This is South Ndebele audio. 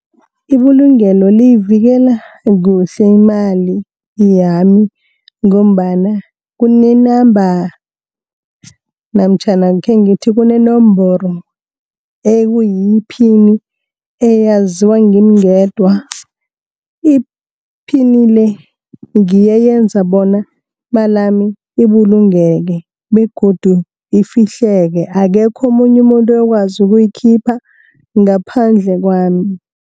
Ibulungelo liyivikela kuhle imali yami, ngombana kune-number, namtjhana khengithi kunenomboro ekuyiyiphini, eyaziwa ngimi ngedwa. Iphini le, ngiyo eyenza bona imal yami ibulungeke begodu ifihleke, akekho omunye umuntu oyokwazi ukuyikhipha ngaphandle kwami.